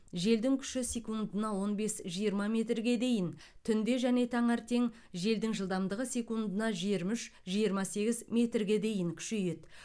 желдің күші секундына он бес жиырма метрге дейін түнде және таңертең желдің жылдамдығы секундына жиырма үш жиырма сегіз метрге дейін күшейеді